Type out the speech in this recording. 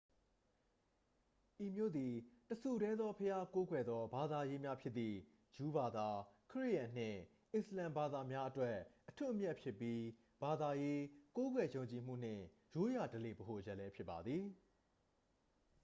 ဤမြို့သည် တစ်ဆူတည်းသောဘုရားကိုးကွယ်သော ဘာသာရေးများဖြစ်သည့် ဂျူးဘာသာ ခရစ်ယာန်နှင့် အစ္စလာမ်ဘာသာများအတွက် အထွက်အမြတ်ဖြစ်ပြီး ဘာသာရေး ကိုးကွယ်ယုံကြည်မှုနှင့် ရိုးရာဓလေ့ ဗဟိုချက်လည်း ဖြစ်ပါသည်